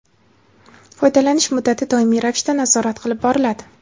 foydalanish muddati doimiy ravishda nazorat qilib boriladi.